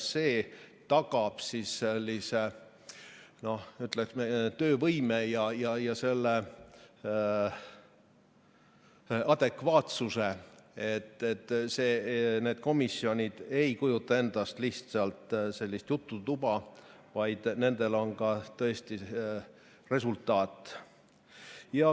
See tagab sellise, ütleme, töövõime ja selle adekvaatsuse, et need komisjonid ei kujuta endast lihtsalt mingit jututuba, vaid nendel on ka tõesti resultaat.